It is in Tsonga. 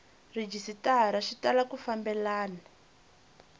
rhejisitara swi tala ku fambelana